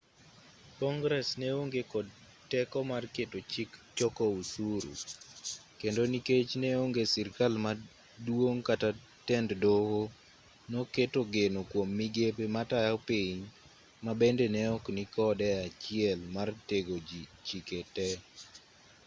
kongress neonge kod teko mar keto chik choko osuru kendo nikech neonge sirkal maduong' kata tend doho noketo geno kuom migepe matayo piny mabende neok nikode e achiel mar tego chike tee